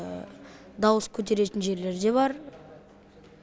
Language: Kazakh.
дауыс көтеретін жерлер де бар